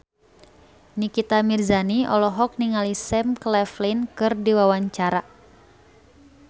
Nikita Mirzani olohok ningali Sam Claflin keur diwawancara